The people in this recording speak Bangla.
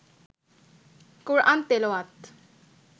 কোরআন তেলাওয়াত